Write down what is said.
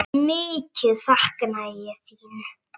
Mikið sakna ég þín.